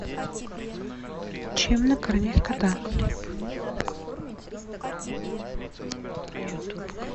чем накормить кота